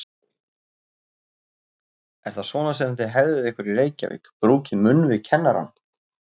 Er það svona sem þið hegðið ykkur í Reykjavík, brúkið munn við kennarann?